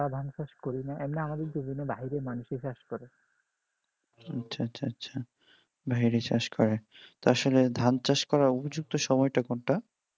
আচ্ছা আচ্ছা আচ্ছা ভাইরা চাষ করেন তার সঙ্গে ধান চাষ করার উপযুক্ত সময়টা কোনটা